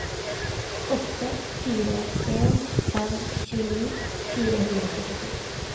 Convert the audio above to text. åtte fire en fem tjueni fire hundre og førtito